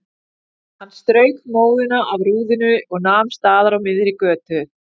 Hann strauk móðuna af rúðunni og nam staðar á miðri götu.